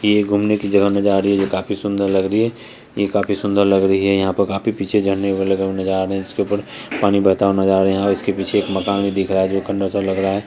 ये घूमने की जगह नजर आ रही है जो काफी सुंदर लग रही है ये काफी सुंदर लग रही है यहाँ पे काफी पीछे झरने लगे हुए नजर आ रहे हैं इसके उपर पानी बहता हुआ नजर आ रहा है यहाँ इसके पीछे एक मकान दिख रहा है जो खंडहर सा लग रहा है।